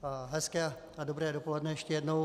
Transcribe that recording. Hezké a dobré dopoledne ještě jednou.